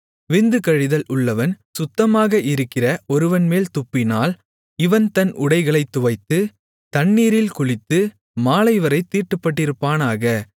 விந்து கழிதல் உள்ளவன் சுத்தமாக இருக்கிற ஒருவன்மேல் துப்பினால் இவன் தன் உடைகளைத் துவைத்து தண்ணீரில் குளித்து மாலைவரைத் தீட்டுப்பட்டிருப்பானாக